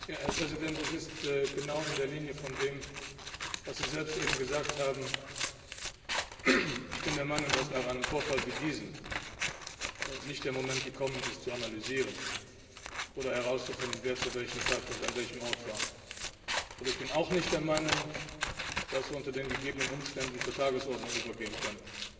Herr Präsident! Das ist genau im Sinne dessen, was Sie selbst eben gesagt haben Ich bin der Meinung, dass nach einem Vorfall wie diesem nicht der Moment gekommen ist, zu analysieren oder herauszufinden, wer zu welchem Zeitpunkt an welchem Ort war. Aber ich bin auch nicht der Meinung, dass wir unter den gegebenen Umständen zur Tagesordnung übergehen können.